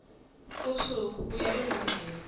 usuku kuya kwezimbili